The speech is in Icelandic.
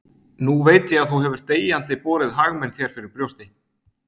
Nú veit ég að þú hefur deyjandi borið hag minn þér fyrir brjósti.